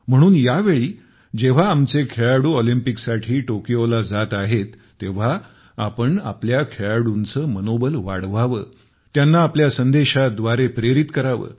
म्हणून यावेळी जेव्हा आमचे खेळाडू ऑलिम्पिकसाठी टोकियोला जात आहेत तेव्हा आपण आपल्या खेळाडूंचे मनोबल वाढवावे त्यांना आपल्या संदेशाद्वारे प्रेरित करावे